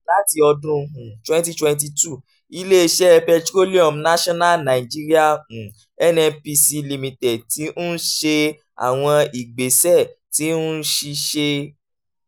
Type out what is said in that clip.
lati ọdun um twenty twenty two ile-iṣẹ petroleum national nigeria um (nnpc) limited ti n ṣe awọn igbesẹ ti nṣiṣe